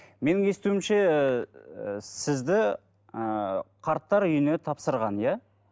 менің естуімше ыыы сізді ыыы қарттар үйіне тапсырған иә